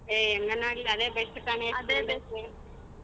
ಏ ಹೆಂಗ ನಂಗೆ ಅದೇ best ಕಣೇ .